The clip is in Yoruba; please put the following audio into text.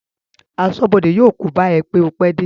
Aṣọ́bọdè yóò kóbá ẹ pé o pẹ́ dé